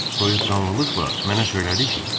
Dam soyuqqanlıqla mənə söylədi ki: